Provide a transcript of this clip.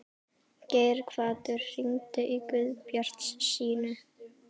Geirhvatur, hringdu í Guðbjartsínu.